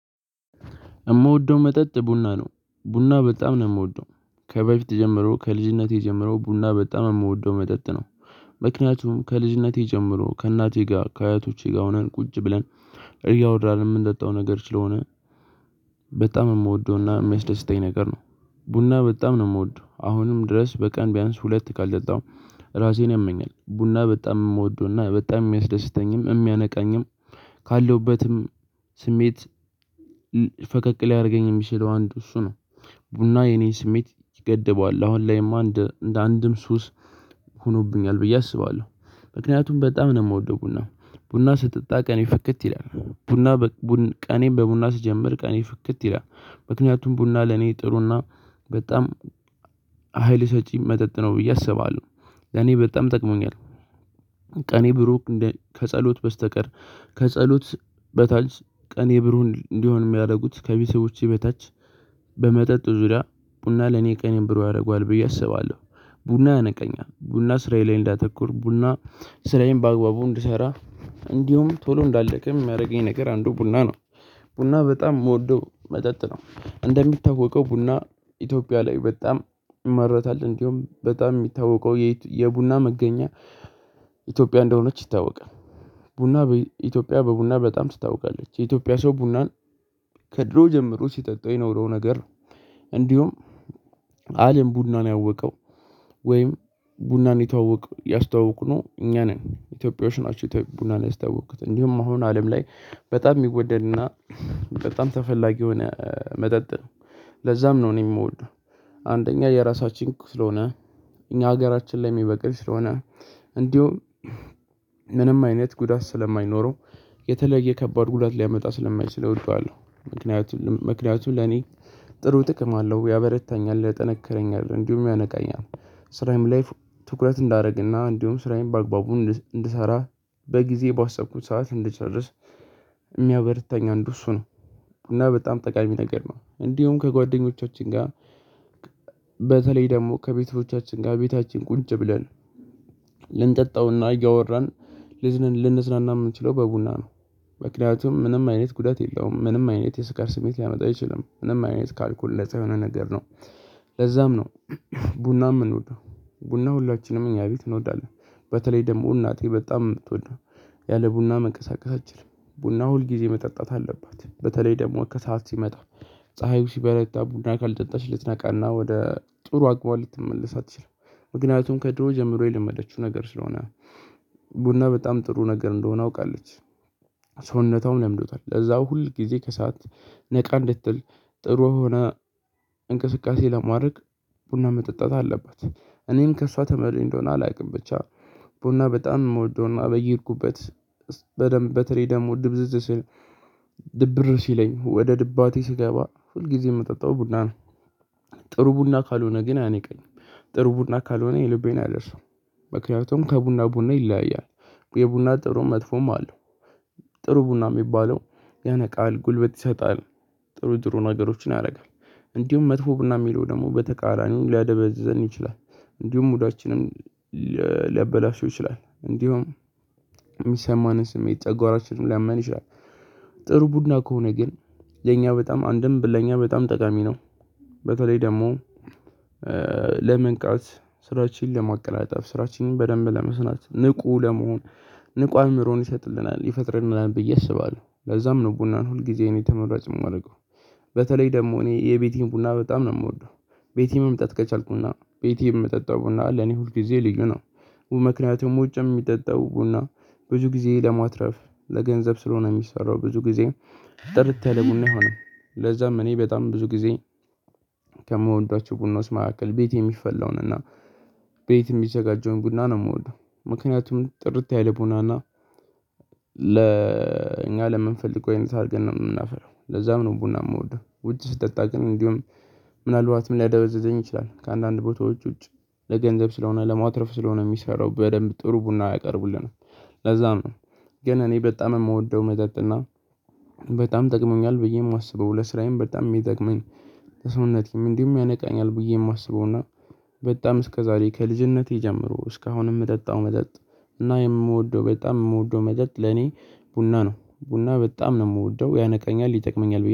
የምወደው መጠጥ ቡና ነው ቡና በጣም ነው የምወደው ከበፊት ጀምሮ ከልጅነቴ ጀምሮ ቡና በጣም የምወደው መጠጥ ነው። ምክንያቱም ከልጅነቴ ጀምሮ ከእናቴ ጋር ከአያቶቼ ጋር ሆነን ቁጭ ብለን እያወደን የምንጠጣው ነገር ስለሆነ በጣም የምወደውና የሚያስደስተኝ ነገር ነው። ቡና በጣም ነው የምወደው አሁንም ድረስ በቀን ቢያንስ ሁለት ካልደጣው። ራሴን ያመኛል ቡና በጣም የምወደውና በጣም የሚያስደስተኝም የሚያነቃኝም ካለውበትም ስሜት ፈቀቅ ሊያደርገኝ የሚሰለው አንድ እሱ ነው። ቡና የኔ ስሜት ይገድበዋል አሁን ላይማ እንደ አንድም ሱስ ሆኖብኛል ብዬ አስባለሁ። ምክንያቱም በጣም ነው የምወደው ቡና ቡና ስትጠጣ ቀኔ ፍክት ይላል ቡና በቡና ቀኔን በቡና ስጀምር ቀኔ ፍክት ይላል። ምክንያቱም ቡና ለኔ ጥሩና በጣም ሀይል ሰጪ መጠጥ ነው ብዬ አስባለሁ። ለኔ በጣም ጠቅሞኛል። ቀኔ ብሩህ ከጸሎት በስተቀር ከጸሎት በታች ቀኔ ብሩክ እንዲሆን የሚያደርጉት ከቢስቦቼ በታች በመጠጥ ዙሪያ ቡና ለኔ ቀን ብሩ ያደርገዋል ብዬ አስባለሁ። ቡና ያነቃቂ ቡና ስራዬን እንዳተኩር ቡና ስራዬን በአግባቡ እንድሰራ እንዲሁም ቶሎ እንዳልደክም የሚያደርገኝ ነገር አንዱ ቡና ነው። ቡና በጣም የምወደው መጠጥ ነው። እንደሚታወቀው ቡና ኢትዮጵያ ላይ በጣም ይመረታል እንዲሁም በጣም የሚታወቀው የቡና መገኛ ኢትዮጵያ እንደሆነች ይታወቃል። ቡና ኢትዮጵያ በቡና በጣም ትታወቃለች የኢትዮጵያ ሰው ቡናን ከድሮ ጀምሮ ሲጠጣው የኖረው ነገር። እንዲሁም አለም ቡናን ያወቀው ወይም ቡናን ይታወቅ ያስታወቅኩነው እኛ ነን ኢትዮጵያውያን ቡናን ያስታወቅኩት እንዲሁም አሁን አለም ላይ በጣም የሚወደድና በጣም ተፈላጊ የሆነ መጠጥ ነው። ለዛም ነው እኔ የምወደው። አንደኛ የራሳችን ስለሆነ እኛ ሀገራችን ላይ የሚበቅልኝ ስለሆነ እንዲሁም ምንም አይነት ጉዳት ስለማይኖረው የተለየ ከባድ ጉዳት ሊያመጣ ስለማይችል እወደዋለሁ። ምክንያቱም ምክንያቱ ለኔ ጥሩ ጥቅም አለው ያበረታኛል ያጠነከረኛል እንዲሁ ያነቃኛል። ስራዬም ላይ ትኩረት እንዳደረግና እንዲሁም ስራዬን በአግባቡ እንድሰራ በጊዜ ባሰብኩት ሰዓት እንድጨርስ። አንዱ እሱ ነው። እና በጣም ጠቃሚ ነገር ነው እንዲሁም ከጓደኞቻችን ጋር በተለይ ደግሞ ከቤተሮቻችን ጋር ቤታችን ቁጭ ብለን ልንጠጣውና እያወራን ልንዝናና የምንችለው በቡና ነው። ምክንያቱም ምንም አይነት ጉዳት የለውም ምንም አይነት የስካር ስሜት ሊያመጣ አይችልም ምንም አይነት ካልኮል ነፃ የሆነ ነገር ነው። ለዛም ነው ቡና የምኖደው ቡና ሁላችንም እኛ ቤት እንወዳለን። በተለይ ደግሞ እናቴ በጣም የምትወደው ያለ ቡና መንቀሳቀሳችን ቡና ሁልጊዜ መጠጣት አለባት በተለይ ደግሞ ከሰአት ሲመጣ ፀሀዩ ሲበረታ ቡና ካልጠጣች ልትነቃና ወደ ጥሩ አግቧል ልትመለስ አትችልም። ምክንያቱም ከድሮ ጀምሮ የለመደችው ነገር ስለሆነ። ቡና በጣም ጥሩ ነገር እንደሆነ አውቃለች። ሰውነታውም ለምዶታል ለዛው ሁል ጊዜ ከሰአት ነቃ እንድትል ጥሩ ሆነ እንቅስቃሴ ለማድረግ ቡና መጠጣት አለባት። እኔም ከእሷ ተመልኝ እንደሆነ አላውቅም ብቻ ቡና በጣም እንወደውና በየሄድኩበት በደንብ በተለይ ደግሞ ድብዝዝ ስል ድብር ሲለኝ ወደ ድባቴ ሲገባ ሁልጊዜ የምጠጣው ቡና ነው። ጥሩ ቡና ካልሆነ ግን አይነቀኝም። ጥሩ ቡና ካልሆነ የልቤን አደርሰው። ምክንያቱም ከቡና ቡና ይለያያል የቡና ጥሩ መጥፎም አለው። ጥሩ ቡና የሚባለው ያነቃል ጉልበት ይሰጣል ጥሩ ጥሩ ነገሮችን ያደርጋል። እንዲሁም መጥፎ ብናምር ደግሞ በተቃራኒው ሊያደበዝዘን ይችላል። እንዲሁም ሙዳችንን ሊያበላሹ ይችላል እንዲሁም የሚሰማንን ስሜት ጨጓራችንን ሊያመን ይችላል። ጥሩ ቡድና ከሆነ ግን የኛ በጣም አንድም ለኛ በጣም ጠቃሚ ነው። በተለይ ደግሞ ለመንቃት ስራችንን ለማቀናጠፍ ስራችንን በደንብ ለመስናት ንቁ ለመሆን ንቁ አእምሮን ይሰጥልናል ይፈጥርናል ብዬ አስባለሁ ለዛም ነው ቡናን ሁል ጊዜ እኔ ተመራጭ የማደርገው። በተለይ ደግሞ እኔ የቤቴን ቡና በጣም ነው የምወደው። ቤቴን መምጣት ከቻልኩና ቤቴን የምጠጣው ቡና ለኔ ሁልጊዜ ልዩ ነው። ምክንያቱም ውጭ የሚጠጣው ቡና ብዙ ጊዜ ለማትረፍ ለገንዘብ ስለሆነ የሚሰራው ብዙ ጊዜ ጥርት ያለ ቡና ይሆናል። ለዛም እኔ በጣም ብዙ ጊዜ ከምወዷቸው ቡና ውስጥ መካከል ቤት የሚፈላውን እና ቤት የሚዘጋጀውን ቡና ነው የምወደው። ምክንያቱም ጥርት ያለ ቡናና ለእኛ ለምንፈልገው ይሄን ታርገን ነው የምናፈረው ለዛም ነው ቡና የምወደው ውጭ ስጠጣ ግን እንዲሁም ምናልባትም ሊያደበዝዘኝ ይችላል ከአንዳንድ ቦታዎች ውጭ ለገንዘብ ስለሆነ ለማትረፍ ስለሆነ የሚሰራው በደንብ ጥሩ ቡና አያቀርቡልንም። ለዛም ነው። ግን እኔ በጣም የምወደው መጠጥና በጣም ጠቅሞኛል ብዬ የማስበው ለስራዬም በጣም የሚጠቅመኝ። ሰውነቴም እንዲሁም ያነቃኛል ብዬ የማስበው እና በጣም እስከ ዛሬ ከልጅነቴ ጀምሮ እስከ አሁን የምጠጣው መጠጥ። እና የምወደው በጣም የምወደው መጠጥ ለኔ ቡና ነው። ቡና በጣም ነው የምወደው ያነቃኛል ይጠቅመኛል